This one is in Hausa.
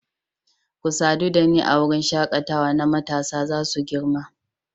Ku sadu da ni a wurin shakatawa na matasa za su girma